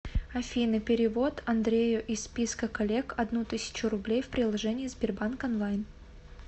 афина перевод андрею из списка коллег одну тысячу рублей в приложении сбербанк онлайн